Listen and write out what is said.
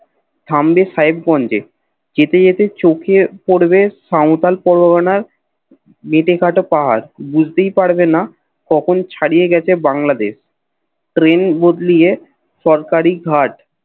সামনে সাহেবগঞ্জে যেতে যেতে চোখে পড়বে সাওতাল পরগনার মেটেকাটা পাহাড় বুঝতেই পারবেনা কখন ছড়িয়ে গেছে বাংলাদেশ ট্রেন বদলীয়ে সরকারী ঘাট